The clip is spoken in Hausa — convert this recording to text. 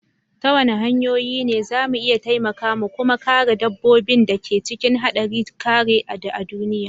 Ta wani hanyoyi ne za mu iya taimaka mu kuma kare dabbobin da ke cikin haɗari karewa a duniya?